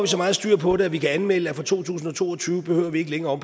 så meget styr på det at vi kan anmelde at for to tusind og to og tyve behøver vi ikke længere